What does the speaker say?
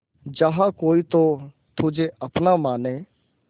जहा कोई तो तुझे अपना माने